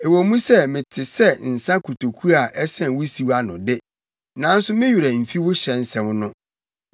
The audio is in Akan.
Ɛwɔ mu sɛ mete sɛ nsa kotoku a ɛsɛn wusiw ano de, nanso me werɛ mfi wo hyɛ nsɛm no.